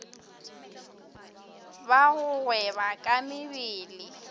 ba go gweba ka mebele